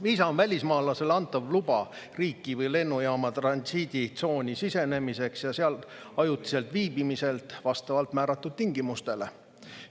Viisa on välismaalasele antav luba riiki või lennujaama transiiditsooni sisenemiseks ja seal ajutiselt viibimiseks vastavalt määratud tingimustele.